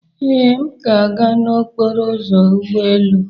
Ee, m ga-aga n'okporo ụzọ ụgbọ elu.